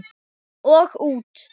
Og út.